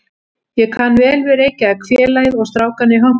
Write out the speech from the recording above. Ég kann vel Reykjavík, félagið og strákana í hópnum.